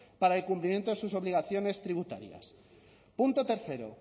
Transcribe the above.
para el cumplimiento de sus obligaciones tributarias punto tercero